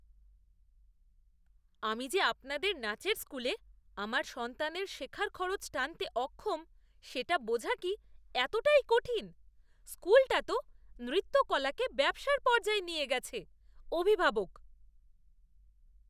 আমি যে আপনাদের নাচের স্কুলে আমার সন্তানের শেখার খরচ টানতে অক্ষম সেটা বোঝা কি এতটাই কঠিন? স্কুলটা তো নৃত্যকলাকে ব্যবসার পর্যায়ে নিয়ে গেছে। অভিভাবক